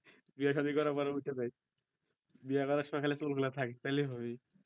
বিয়ে সাধি করার পর উইঠা যাক বিয়া করার সময়ই খালি চুল গুলা থাক তালেই হবে